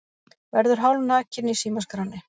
Verður hálfnakinn í símaskránni